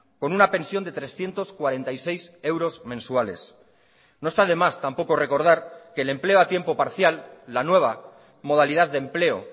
con una pensión de trescientos cuarenta y seis euros mensuales no está de más tampoco recordar que el empleo a tiempo parcial la nueva modalidad de empleo